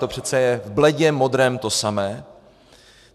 To přece je v bledě modrém to samé.